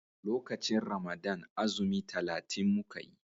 lokacin Ramadan azumi talatin muka yi